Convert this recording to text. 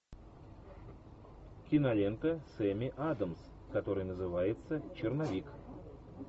кинолента с эми адамс которая называется черновик